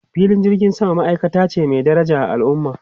Filin jirgin sama ma'aikata ce mai daraja a al'umma.